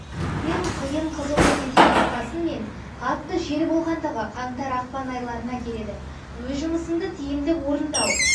ең қиын қызулы кезең бұрқасын мен қатты жел болғандағы қаңтар-ақпан айларына келеді өз жұмысынды тиімді орындау